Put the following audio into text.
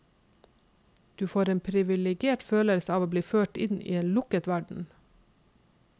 Du får en priviligert følelse av å bli ført inn i en lukket verden.